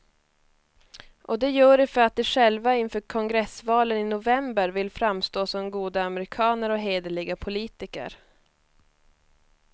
Och de gör det för att de själva inför kongressvalen i november vill framstå som goda amerikaner och hederliga politiker.